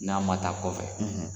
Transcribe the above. N'a ma taa kɔfɛ